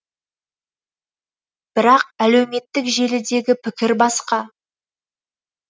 бірақ әлеуметтік желідегі пікір басқа